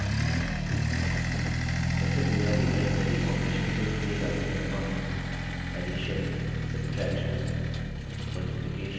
सबसे बुनियादी arithmetic operations जो the जाते हैं वह हैं addition addition subtraction subtraction multiplication multiplication और division division